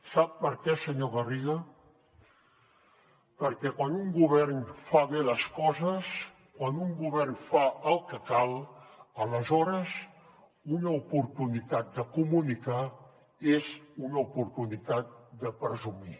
sap per què senyor garriga perquè quan un govern fa bé les coses quan un govern fa el que cal aleshores una oportunitat de comunicar és una oportunitat de presumir